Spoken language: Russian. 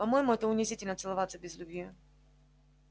по моему это унизительно целоваться без любви